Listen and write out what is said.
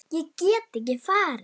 Ég get ekki farið.